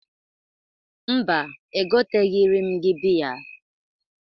Mba, egoteghiri m gị bịya.